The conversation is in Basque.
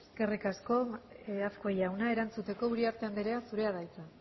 eskerrik asko azkue jauna erantzuteko uriarte anderea zurea da hitza